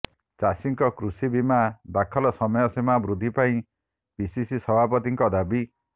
ଚାଷୀଙ୍କ କୃଷି ବୀମା ଦାଖଲ ସମୟ ସୀମା ବୃଦ୍ଧି ପାଇଁ ପିସିସି ସଭାପତିଙ୍କ ଦାବି